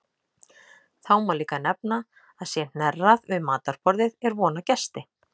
Þá má líka nefna að sé hnerrað við matarborðið er von á gesti.